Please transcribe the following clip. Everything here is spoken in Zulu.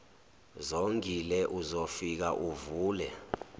zongile uzofika uvule